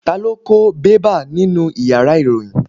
Ta lo ko bẹ́bà nínú ìyára irohin?